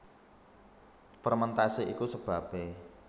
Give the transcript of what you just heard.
Fermentasi iku sebabé